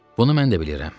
Bunu mən də bilirəm.